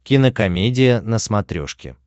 кинокомедия на смотрешке